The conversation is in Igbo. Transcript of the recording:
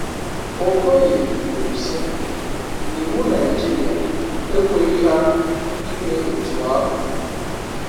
Okoye kwuru si na iwu Naịjirịa ekweghi ha ime otu ahụ.